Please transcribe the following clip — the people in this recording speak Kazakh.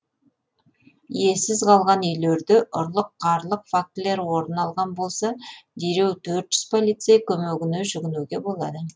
иесіз қалған үйлерде ұрлық қарлық фактілері орын алған болса дереу төрт жүз полицей көмегіне жүгінуге болады